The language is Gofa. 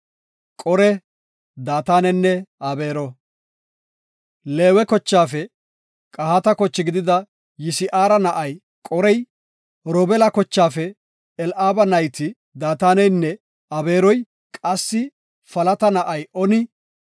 Leewe kochaafe Qahaata koche gidida Yisi7ara na7ay Qorey, Robeela kochaafe Eli7aaba nayti Daataneynne Abeeroy qassi Faleta na7ay Oni,